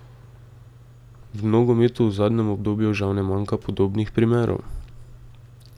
V nogometu v zadnjem obdobju žal ne manjka podobnih primerov.